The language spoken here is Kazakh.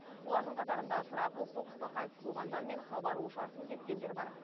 олардың қатарында сұрапыл соғыста қайтыс болғандар мен хабар ошарсыз кеткендер бар